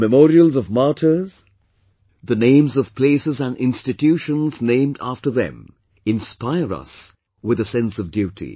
The memorials of martyrs, the names of places and institutions named after them inspire us with a sense of duty